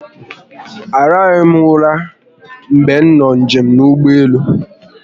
A rahụghi m ụra mgbe m nọ njem n'ụgbọelu